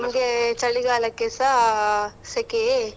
ನಮಗೆ ಚಳಿಗಾಲಕ್ಕೆಸ ಸೆಕೆಯೇ.